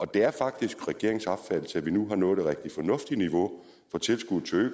det er faktisk regeringens opfattelse at vi nu har nået et rigtig fornuftigt niveau for tilskuddet til